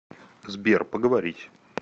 сбер поговорить